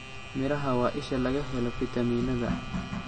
Miraha waa isha laga helo fitamiinada.